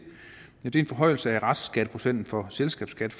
er en forhøjelse af restskatteprocenten for selskabsskat